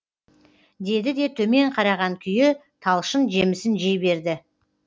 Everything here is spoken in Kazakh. деді де төмен қараған күйі талшын жемісін жей берді